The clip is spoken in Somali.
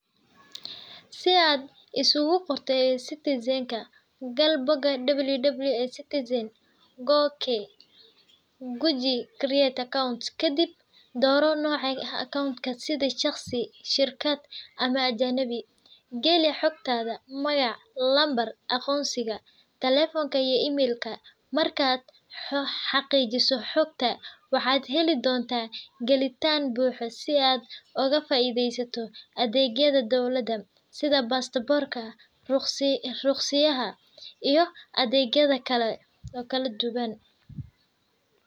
Si aad iskugu qorto, gal www.e-citizen.go.ke. Ku dhufo Create Account, kadib dooro noca account sida shirkad, shaqsi, ama ajanabi. Gali xogtaada: magac, numbarka aqoonsiga, telfonka, iyo email-ka. Markaad xaqiijiso xogta, waxaad heli doontaa galitaan buuxda si aad uga faa’iideysato adeegyadda Dowladda sida:Passport Ka, Ruqsiyada, iyo adeegyadda kale oo kala duwan.